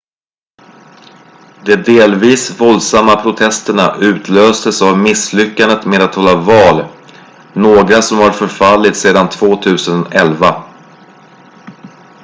de delvis våldsamma protesterna utlöstes av misslyckandet med att hålla val några som har förfallit sedan 2011